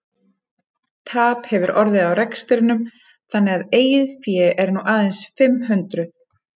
Tap hefur orðið á rekstrinum þannig að eigið fé er nú aðeins fimm hundruð.